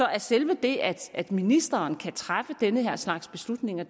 er selve det at ministeren kan træffe den her slags beslutninger